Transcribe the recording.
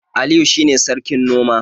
Aliyu shine sarkin noma